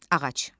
Ağac.